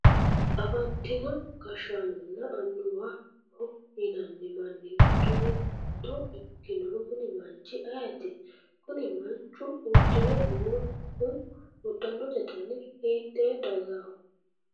afantino gashshaanonna annuwaho yinanni manni giddo mitto ikkinohu kuni manchu ayeeti? kuni manchu uddire noohu uddanote dani hiitte dagaho ?